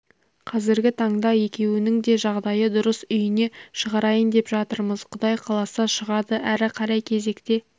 қазіргі таңда екеуінің де жағдайы дұрыс үйіне шығарайын деп жатырмыз құдай қаласа шығады әрі қарай кезекте